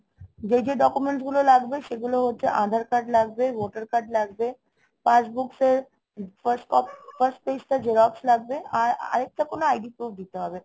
যে যে documents গুলো লাগবে সেগুলো হচ্ছে aadhar card লাগবে, voter card লাগবে। passbook এর first copy, first page টা xerox লাগবে. আর আর একটা কোনো ID proof দিতে হবে.